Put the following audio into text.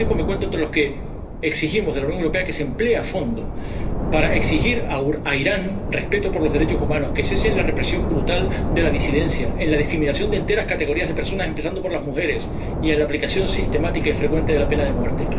Pero, al mismo tiempo, me cuento entre los que exigimos de la Unión Europea que se emplee a fondo para exigir a Irán respeto por los derechos humanos, que cese en la represión brutal de la disidencia, en la discriminación de categorías enteras de personas, empezando por las mujeres, y en la aplicación sistemática y frecuente de la pena de muerte.